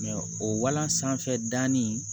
o walan sanfɛ da nin